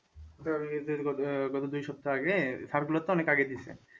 ওটা গত দেড় আহ গত দুই সপ্তাহ আগে circular তো অনেক আগে দিয়েছে।